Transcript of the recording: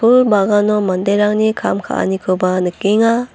bagano manderangni kam ka·anikoba nikenga.